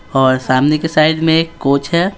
और सामने के साइड में एक कोच है।